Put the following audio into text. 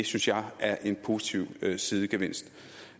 synes jeg er en positiv sidegevinst